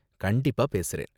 கண்டிப்பா பேசுறேன்.